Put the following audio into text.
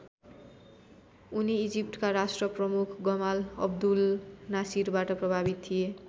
उनी इजिप्टका राष्ट्रप्रमुख गमाल अब्दुल नासिरबाट प्रभावित थिए।